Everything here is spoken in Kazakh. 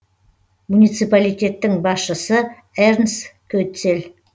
муниципалитеттің басшысы эрнст кетцель